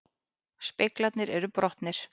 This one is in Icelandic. Speglarnir eru brotnir